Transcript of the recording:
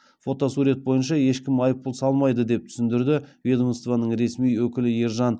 фотосурет бойынша ешкім айыппұл салмайды деп түсіндірді ведомствоның ресми өкілі ержан